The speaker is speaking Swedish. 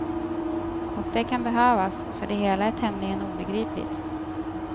Och det kan behövas, för det hela är tämligen obegripligt.